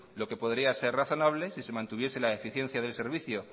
lo que podría ser razonable si se mantuviese la eficiencia del servicio